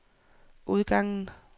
udgangen